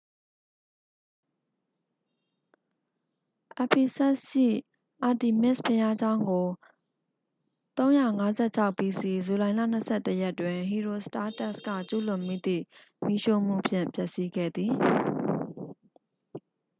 ephesus ရှိ artemis ဘုရားကျောင်းကို 356 bc ဇူလိုင်လ 21 ရက်တွင် ဟီရီုစတားတက်စ် က ကျူးလွန်မိသည့် မီးရှို့မှုဖြင့် ဖျက်ဆီးခဲ့သည်